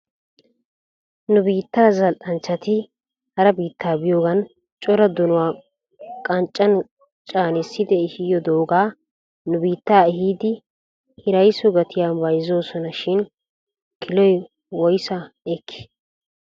Nu biittaa zal'anchchati hara biitta biyoogan cora donuwaa qanccan caanissidi ehidoogaa nu biitta ehidi hiraysso gatiya bayzoosona shin kiloy woysaa ekkii?